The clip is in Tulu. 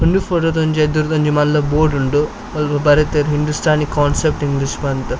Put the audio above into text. ಉಂದು ಫೊಟೊ ಡೊಂಜಿ ಎದುರ್ದ ಒಂಜಿ ಮಲ್ಲ ಬೋರ್ಡ್ ಉಂಡು ಅಲ್ಪ ಬರೆತೆರ್ ಹಿಂದುಸ್ಥಾನಿ ಕೋನ್ಸೆಪ್ಟ್ ಇಂಗ್ಲೀಷ್ ಪಂದ್.